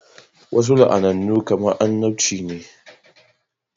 Wasu la'anannu kamar annabci ne